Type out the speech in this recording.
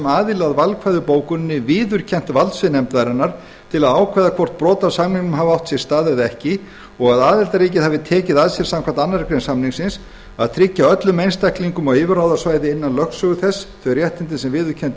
aðili að valkvæðu bókuninni viðurkennt valdsvið nefndarinnar til að ákveða hvort brot á samningnum hafi átt sér stað eða ekki og að aðildarríkið hefur tekið að sér samkvæmt annarri grein samningsins að tryggja öllum einstaklingum á yfirráðasvæði innan lögsögu þess þau réttindi sem viðurkennd